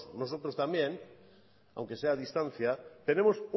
osotros también aunque sea a distancia tenemos